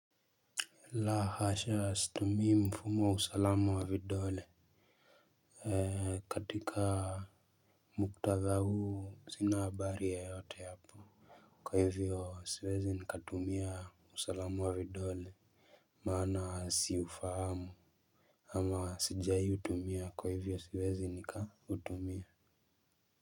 La hasha situmii mfumo wa usalamu wa vidole ee katika muktadha huu sina habari yeyote hapo kwa hivyo siwezi nikatumia usalamu wa vidole maana siufahamu ama sijai utumia kwa hivyo siwezi nikatumia Muzika.